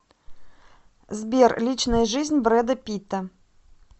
сбер личная жизнь брэда питта